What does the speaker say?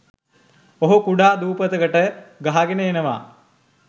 ඔහු කුඩා දූපතකට ගහගෙන එනව